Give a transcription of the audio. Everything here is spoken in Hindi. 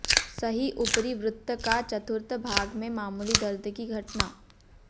सही ऊपरी वृत्त का चतुर्थ भाग में मामूली दर्द की घटना